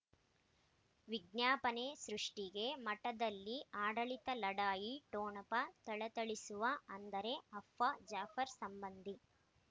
ವಿಜ್ಞಾಪನೆ ಸೃಷ್ಟಿಗೆ ಮಠದಲ್ಲಿ ಆಡಳಿತ ಲಢಾಯಿ ಠೊಣಪ ಥಳಥಳಿಸುವ ಅಂದರೆ ಅಪ್ಪ ಜಾಫರ್ ಸಂಬಂಧಿ